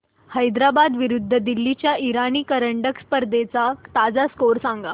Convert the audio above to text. हैदराबाद विरुद्ध दिल्ली च्या इराणी करंडक स्पर्धेचा ताजा स्कोअर सांगा